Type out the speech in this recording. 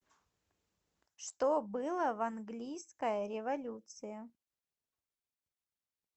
что было в английская революция